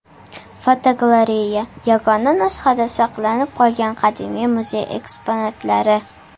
Fotogalereya: Yagona nusxada saqlanib qolgan qadimiy muzey eksponatlari.